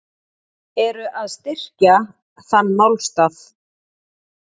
Eru að styrkja þann málstað.